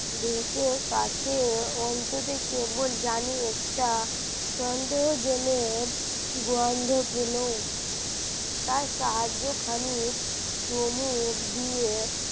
ডেকে কাছে আনতে কেমন জানি একটা সন্দেহজনক গন্ধ পেল তার সাহায্য খানি চুমুক দিয়ে,